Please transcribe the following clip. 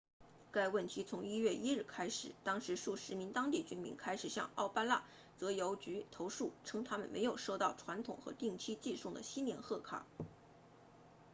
该问题从1月1日开始当时数十名当地居民开始向奥巴那泽邮局 obanazawa post office 投诉称他们没有收到传统和定期寄送的新年贺卡